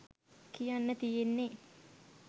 කියන්න තියෙන්නෙ.